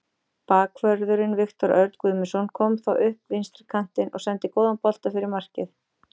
Bakvörðurinn Viktor Örn Guðmundsson kom þá upp vinstri kantinn og sendi góðan bolta fyrir markið.